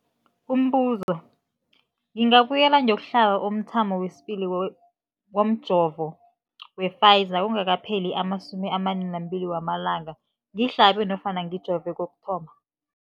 Umbuzo, ngingabuyela ngiyokuhlaba umthamo wesibili womjovo we-Pfizer kungakapheli ama-42 wamalanga ngihlabe nofana ngijove kokuthoma.